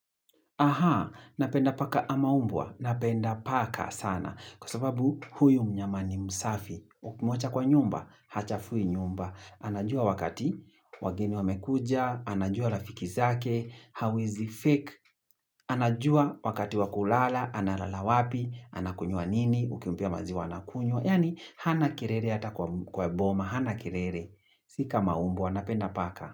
Aha, napenda paka ama umbwa. Napenda paka sana. Kwa sababu huyu mnyama ni msafi. Ukimwacha kwa nyumba, hachafui nyumba. Anajua wakati wageni wamekuja, anajua rafiki zake, anajua wakati wa kulala, analala wapi, anakunywa nini, ukimpa maziwa anakunywa. Yaani, hana kelele hata kwa boma, hana kelele. Sika maumbwa, napenda paka.